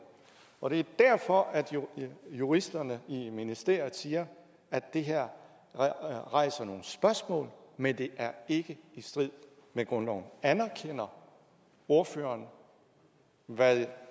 og det er derfor at juristerne i ministeriet siger at det her rejser nogle spørgsmål men det er ikke i strid med grundloven anerkender ordføreren hvad